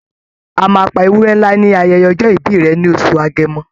A máa pa ewúrẹ́ ńlá ní ayẹyẹ ọjọ́ ìbí rẹ̀ ní oṣù Agẹmọ.